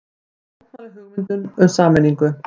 Mótmæla hugmyndum um sameiningu